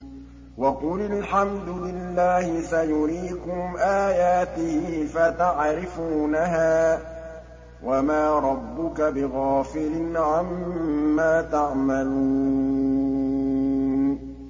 وَقُلِ الْحَمْدُ لِلَّهِ سَيُرِيكُمْ آيَاتِهِ فَتَعْرِفُونَهَا ۚ وَمَا رَبُّكَ بِغَافِلٍ عَمَّا تَعْمَلُونَ